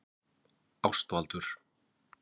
Ástvaldur